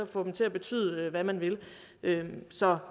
få dem til at betyde hvad man vil vil så